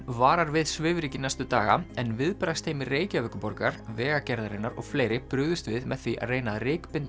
varar við svifryki næstu daga en viðbragðsteymi Reykjavíkurborgar Vegagerðarinnar og fleiri brugðust við með því að reyna að